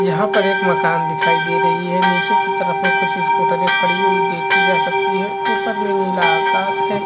यहाँ पर एक माकन दिखाई दे रही है निचे की तरफ में कुछ स्कूटरे खड़ी हुई देखी जा सकती है ऊपर में नीला आकाश है।